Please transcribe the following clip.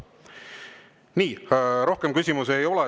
Nii, rohkem küsimusi ei ole.